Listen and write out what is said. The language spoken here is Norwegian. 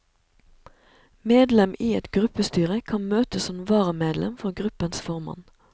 Medlem i et gruppestyre kan møte som varamedlem for gruppens formann.